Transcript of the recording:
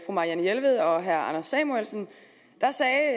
marianne jelved og herre anders samuelsen da sagde